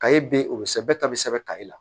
Kayi be ye o be sɛbɛ bɛɛ ta be sɛbɛn kari la